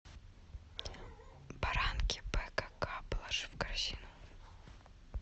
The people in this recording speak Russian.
баранки бкк положи в корзину